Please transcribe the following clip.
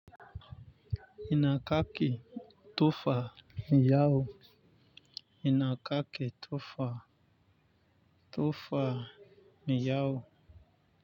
Ina kake tofa miyau ina kake tofa tofa miyau.